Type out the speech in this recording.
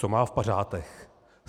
Co má v pařátech?